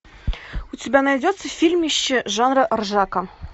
у тебя найдется фильмище жанра ржака